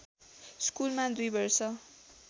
स्कुलमा २ वर्ष